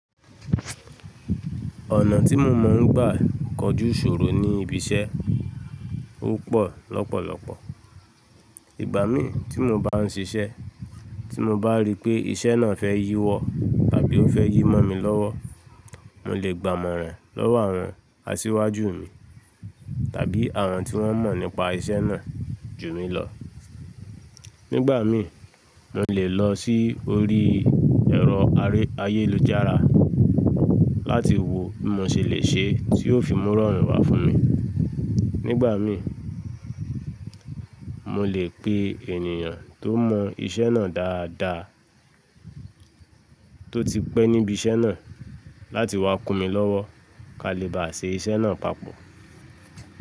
Ọ̀nà tí mo mọ̀ ń gbà kojú ìṣòro ní ibi iṣẹ́ ọ́pọ̀ lọ́pọ̀lọpọ̀. Ìgbà mí tí mo bá ń ṣiṣẹ́, tí mo bá rí pé iṣẹ́ náà fẹ́ yíwọ tàbí ó fẹ́ yí mọ́ mi lọ́wọ́, mò lè gba amoran lọ́wọ́ àwọn asíwájú mi tàbí àwọn tí wọ́n mọ̀ nípa iṣẹ́ náà jù mí lọ̀. Nígbà mí, mò lè lọ sí orí ẹ̀rọ ayélujára láti wo bi mo ṣe lè ṣe tí yóò fi mú irorun wá fún mi. Nígbà mí, mò lè pe ènìyàn tó mọ̀ iṣẹ́ náà dáadáa tó ti pẹ́ níbi iṣẹ́ náà láti wá kún mi lọ́wọ́ kí a lè bá ṣe iṣẹ́ náà papọ̀.